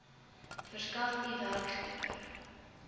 verskaf u werkgewer